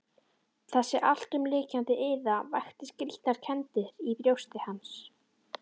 Þessi alltumlykjandi iða vakti skrýtnar kenndir í brjósti hans.